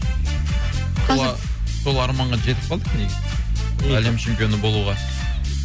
сол арманға жетіп қалдық негізі әлем чемпионы болуға